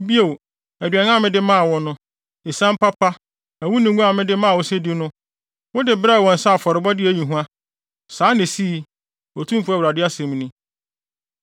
Bio aduan a mede maa wo no, esiam papa, ɛwo ne ngo a mede maa wo sɛ di no, wode brɛɛ wɔn sɛ afɔrebɔde a eyi hua. Saa na esii, Otumfo Awurade asɛm ni.